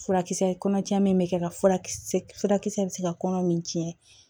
Furakisɛ kɔnɔ caman bɛ kɛ ka furakisɛ furakisɛ bɛ se ka kɔnɔ min tiɲɛ